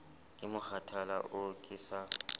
ke mokgathala oo ke sa